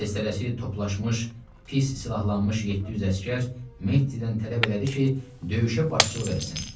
Tez tələsik toplaşmış pis silahlanmış 700 əsgər Meddidən tələb elədi ki, döyüşə başçılıq eləsin.